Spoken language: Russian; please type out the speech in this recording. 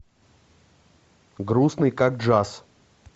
грустный как джаз